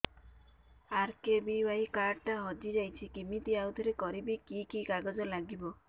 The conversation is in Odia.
ଆର୍.କେ.ବି.ୱାଇ କାର୍ଡ ଟା ହଜିଯାଇଛି କିମିତି ଆଉଥରେ କରିବି କି କି କାଗଜ ଲାଗିବ